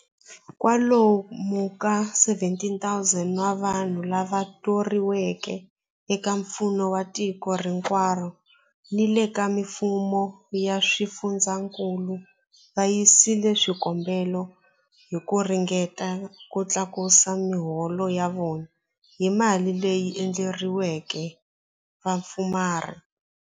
Kwa lomu ka 17,000 wa vanhu lava thoriweke eka mfumo wa tiko hinkwaro ni le ka mifumo ya swifundzankulu va yisile swikombelo hi ku ringeta ku tlakusa miholo ya vona hi mali leyi endleriweke vapfumari.